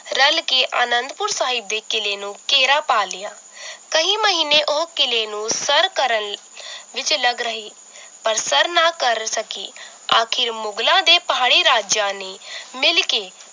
ਰੱਲ ਕੇ ਅਨੰਦਪੁਰ ਸਾਹਿਬ ਦੇ ਕਿਲੇ ਨੂੰ ਘੇਰਾ ਪਾਲਿਆ ਕਹੀਂ ਮਹੀਨੇ ਉਹ ਕਿਲੇ ਨੂੰ ਸਰ ਕਰਨ ਵਿਚ ਲੱਗ ਰਹੀ ਪਰ ਸਰ ਨਾ ਕਰ ਸਕੀ ਆਖਿਰ ਮੁਗ਼ਲਾਂ ਤੇ ਪਹਾੜੀ ਰਾਜਿਆਂ ਨੇ ਮਿਲ ਕੇ